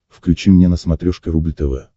включи мне на смотрешке рубль тв